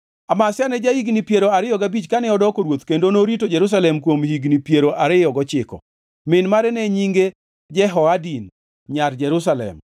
Amazia ne ja-higni piero ariyo gabich kane odoko ruoth kendo norito Jerusalem kuom higni piero ariyo gochiko. Min mare ne nyinge Jehoadin nyar Jerusalem.